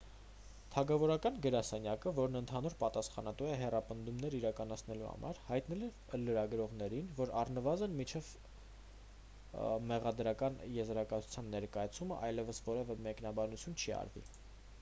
թագավորական գրասենյակը որն ընդհանուր պատասխանատու է հետապնդումներ իրականացնելու համար հայտնել է լրագրողներին որ առնվազն մինչև մեղադրական եզրակացության ներկայացումն այլևս որևէ մեկնաբանություն չի արվի